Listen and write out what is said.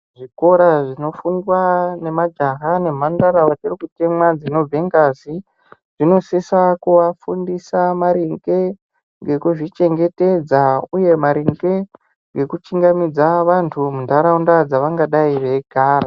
Zvikora zvinofundwa nemajaha nemhandara vachiri kubva ngazi, zvinosisa kuvafundisa maringe ngekuzvichengetedza. Uye maringe ngekuchingamidza vantu munharaunda dzavangadai veigara.